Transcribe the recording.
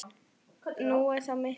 Nú er þetta miklu betra.